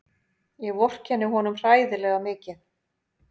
Ég vorkenni honum hræðilega mikið.